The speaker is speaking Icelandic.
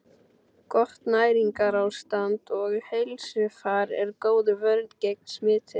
Gott næringarástand og heilsufar er góð vörn gegn smiti.